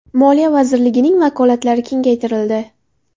Moliya vazirligining vakolatlari kengaytirildi.